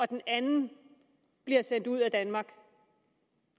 den anden bliver sendt ud af danmark